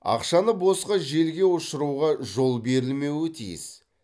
ақшаны босқа желге ұшыруға жол берілмеуі тиіс